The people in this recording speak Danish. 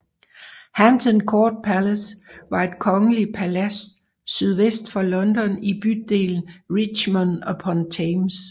Hampton Court Palace var et kongeligt palads sydvest for London i bydelen Richmond upon Thames